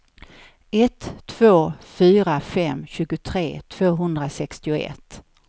ett två fyra fem tjugotre tvåhundrasextioett